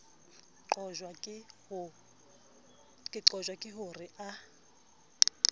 qojwa ke ho re a